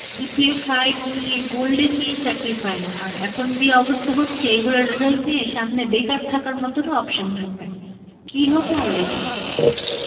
GPA five নিয়ে, golden নিয়ে চাকরি পায় না আর এখন যেই অবস্থা হচ্ছে এগুলার result নিয়ে সামনে বেকার থাকার মতনও option থাকবে না. কি হবে Arbi ই জানে.